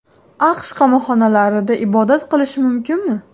AQSh qamoqxonalarida ibodat qilish mumkinmi?.